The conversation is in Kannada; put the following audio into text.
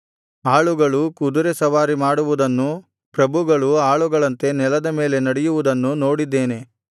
ಆಳುಗಳು ಕುದುರೆ ಸವಾರಿ ಮಾಡುವುದನ್ನೂ ಪ್ರಭುಗಳು ಆಳುಗಳಂತೆ ನೆಲದ ಮೇಲೆ ನಡೆಯುವುದನ್ನೂ ನೋಡಿದ್ದೇನೆ